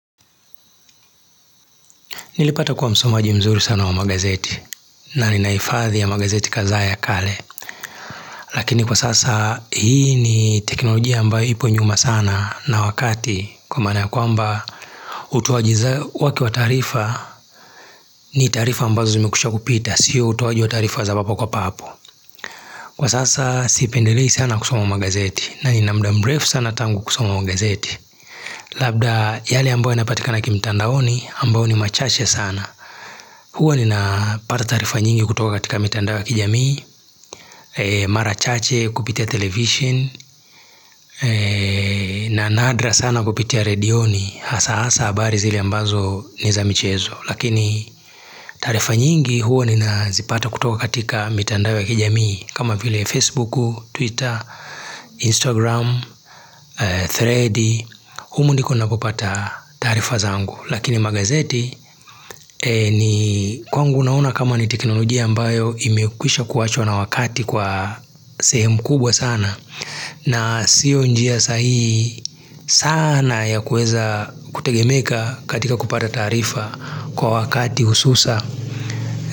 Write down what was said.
Nilipata kuwa msomaji mzuri sana wa magazeti na ninaifadhi ya magazeti kadhaa ya kale. Lakini kwa sasa hii ni teknolojia ambayo ipo nyuma sana na wakati kwa maana kwa mba utoajiza wake wa taarifa ni taarifa ambazo zime kwisha kupita, siyo utoaji wa taarifa za hapo kwa papo. Kwa sasa sipendilei sana kusoma magazeti na nina mda mrefu sana tangu kusoma magazeti. Labda yale ambayo yanapatika na kimtandaoni ambayo ni machache sana. Huwa nina pata taarifa nyingi kutoka katika mitandao ya kijamii marachache kupitia television na nadra sana kupitia redioni Hasa hasa abari zili ambazo niza michezo Lakini taarifa nyingi huwa nina zipata kutoka katika mitandao ya kijamii kama vile Facebook, Twitter, Instagram, Thread humu ndiko napopata taarifa zangu Lakini magazeti ni kwangu naona kama niteknolojia ambayo imekwisha kuachwa na wakati kwa sehemu kubwa sana na sio njia sahihi sana ya kuweza kutegemeka katika kupata taarifa kwa wakati ususa.